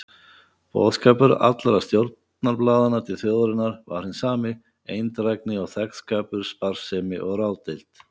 Boðskapur allra stjórnarblaðanna til þjóðarinnar var hinn sami: eindrægni og þegnskapur, sparsemi og ráðdeild.